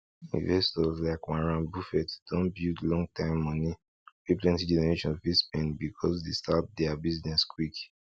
investors like warren buffett don build long time money wey plenty generation fit spend becos dey start deir business quick